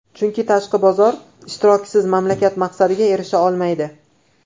Chunki tashqi bozor ishtirokisiz mamlakat maqsadiga erisha olmaydi.